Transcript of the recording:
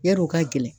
Yar'o ka gɛlɛn